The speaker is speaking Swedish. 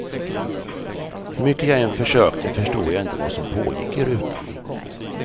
Hur mycket jag än försökte förstod jag inte vad som pågick i rutan.